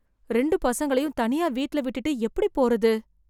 ரெண்டு பசங்களையும் தனியா வீட்ல விட்டுட்டு எப்டி போறது...